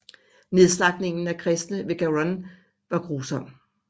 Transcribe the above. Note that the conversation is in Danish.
Nedslagtningen af kristne ved Garonne var grusom